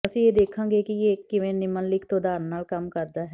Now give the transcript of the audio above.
ਅਸੀਂ ਇਹ ਦੇਖਾਂਗੇ ਕਿ ਇਹ ਕਿਵੇਂ ਨਿਮਨਲਿਖਤ ਉਦਾਹਰਨ ਨਾਲ ਕੰਮ ਕਰਦਾ ਹੈ